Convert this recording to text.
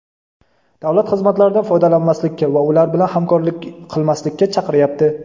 davlat xizmatlaridan foydalanmaslikka va ular bilan hamkorlik qilmaslikka chaqiryapti.